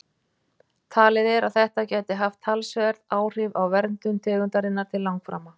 Talið er að þetta gæti haft talsverð áhrif á verndun tegundarinnar til langframa.